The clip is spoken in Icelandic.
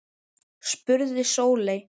spurði Sóley